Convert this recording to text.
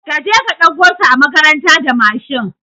Kaje ka ɗauko su a makaranta da Mashin